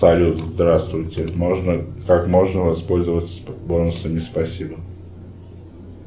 салют здравствуйте можно как можно воспользоваться бонусами спасибо